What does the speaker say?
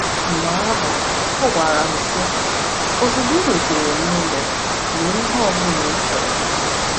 Mgbe ahụ ọ gwara m, sị: “Ozugbo i rutere n’ụlọ, mee ihe ọ bụla ị chọrọ.